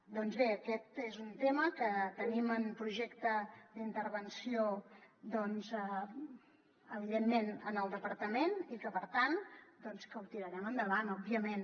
doncs bé aquest és un tema que tenim en projecte d’intervenció evidentment en el departament i per tant ho tirarem endavant òbviament